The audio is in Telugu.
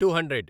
to hundred